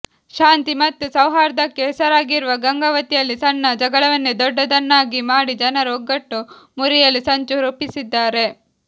ಶಾಂತಿ ಮತ್ತು ಸೌಹಾರ್ದಕ್ಕೆ ಹೆಸರಾಗಿರುವ ಗಂಗಾವತಿಯಲ್ಲಿ ಸಣ್ಣ ಜಗಳವನ್ನೇ ದೊಡ್ಡದನ್ನಾಗಿ ಮಾಡಿ ಜನರ ಒಗ್ಗಟ್ಟು ಮುರಿಯಲು ಸಂಚು ರೂಪಿಸಿದ್ದಾರೆ